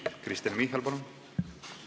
Kristen Michal, palun!